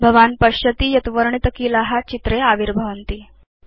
भवान् पश्यति यत् वर्णितकीला चित्रे आविर्भवन्ति